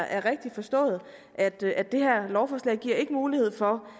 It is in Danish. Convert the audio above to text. er rigtigt forstået at det at det her lovforslag ikke giver mulighed for